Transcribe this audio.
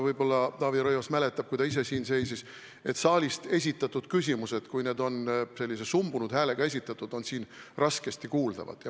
Võib-olla Taavi Rõivas mäletab, et kui ta ise siin seisis, siis saalist esitatud küsimused, kui need olid sellise sumbunud häälega esitatud, olid raskesti kuuldavad.